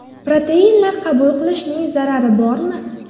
Proteinlar qabul qilishning zarari bormi?